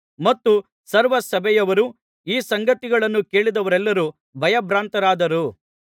ಮತ್ತು ಸರ್ವ ಸಭೆಯವರೂ ಈ ಸಂಗತಿಗಳನ್ನು ಕೇಳಿದವರೆಲ್ಲರೂ ಭಯ ಭ್ರಾಂತರಾದರು